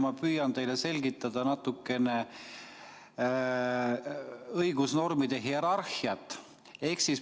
Ma püüan teile selgitada natukene õigusnormide hierarhiat.